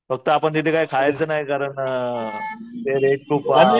फक्त आपण तिथे काय खायचं नाही कारण अ ते रेट खूप